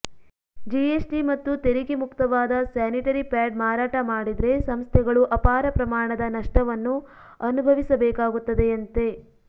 GST ಮತ್ತು ತೆರಿಗೆ ಮುಕ್ತವಾದ ಸ್ಯಾನಿಟರಿ ಪ್ಯಾಡ್ ಮಾರಾಟ ಮಾಡಿದ್ರೆ ಸಂಸ್ಥೆಗಳು ಅಪಾರ ಪ್ರಮಾಣದ ನಷ್ಟವನ್ನು ಅನುಭವಿಸಬೇಕಾಗುತ್ತದೆಯಂತೆ